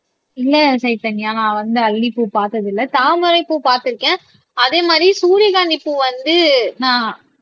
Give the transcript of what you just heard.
இல்லை சைதன்யா நான் வந்து அல்லிப்பூ பார்த்தது இல்லை தாமரைப்பூ பார்த்திருக்கேன் அதே மாதிரி சூரியகாந்தி பூ வந்து நான்